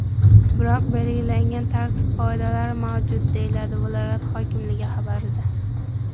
Biroq belgilangan tartib-qoidalar mavjud”, deyiladi viloyat hokimligi xabarida.